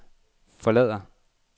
forlader